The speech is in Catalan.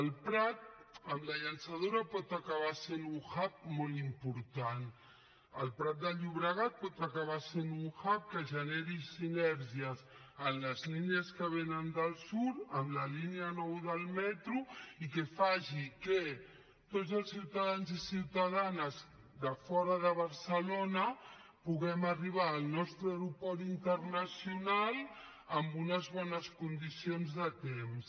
el prat amb la llançadora pot acabar sent un hub molt important el prat de llobregat pot acabar sent un hubvénen del sud amb la línia nou del metro i que faci que tots els ciutadans i ciutadanes de fora de barcelona puguem arribar al nostre aeroport internacional amb unes bones condicions de temps